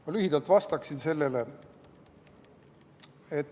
Ma lühidalt vastan sellele.